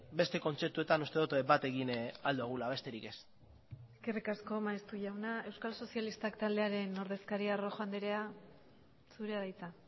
beste kontzeptuetan uste dut bat egin ahal dugula besterik ez eskerrik asko maeztu jauna euskal sozialistak taldearen ordezkaria rojo andrea zurea da hitza